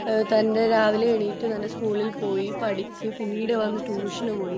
തന്റെ രാവിലെ എണീറ്റ് തന്റെ സ്കൂളിൽ പോയി പഠിച്ച പിനീട് വന്നിട്ട് ട്യൂഷൻ പോയി